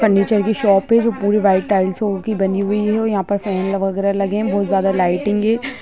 Furniture की shop है जो पूरा वाइट टाइलसो की बनी हुई है और यहाँ पर फैन वागेरह लगे हैं | बहुत ज्यादा लाईटिंग है।